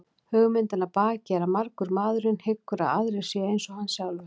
Hugmyndin að baki er að margur maðurinn hyggur að aðrir séu eins og hann sjálfur.